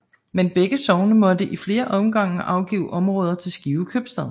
Men begge sogne måtte i flere omgange afgive områder til Skive Købstad